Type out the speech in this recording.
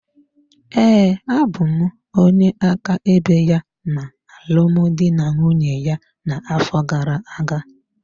Ee, abụ m onye áká ebe ya na alụmdi na nwunye ya na-afọ gara-aga.